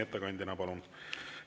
Ettekandjaks palun …